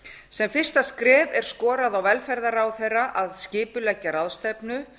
sem fyrsta skref er skorað á velferðarráðherra að skipuleggja ráðstefnu